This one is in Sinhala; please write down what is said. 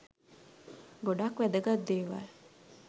ගොඩක් වැදගත් දේවල්